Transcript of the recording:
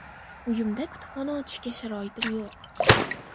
Uyimda kutubxona ochishga sharoitim yo‘q.